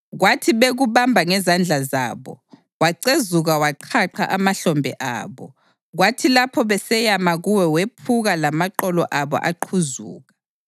Kwathi bekubamba ngezandla zabo, wacezuka waqhaqha amahlombe abo; kwathi lapho beseyama kuwe wephuka lamaqolo abo aqhuzuka.